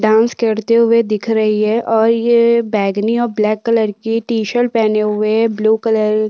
dance करते हुए दिख रही है और यह बैंगनी और ब्लैक कलर की टी शर्ट पहने हुए ब्लू कलर --